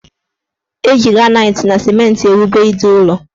Eji granaiti na simenti ewube ide ụlọ